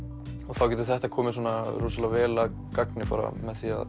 þá getur þetta komið rosalega vel að gagni bara með því að